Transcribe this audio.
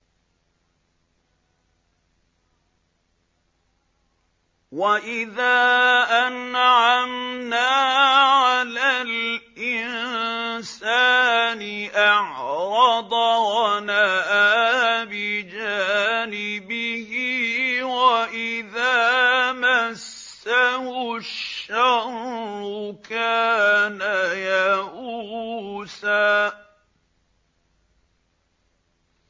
وَإِذَا أَنْعَمْنَا عَلَى الْإِنسَانِ أَعْرَضَ وَنَأَىٰ بِجَانِبِهِ ۖ وَإِذَا مَسَّهُ الشَّرُّ كَانَ يَئُوسًا